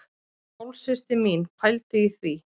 Hálfsystir mín, pældu í því!